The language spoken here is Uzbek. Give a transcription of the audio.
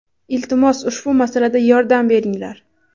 Iltimos ushbu masalada yordam beringlar.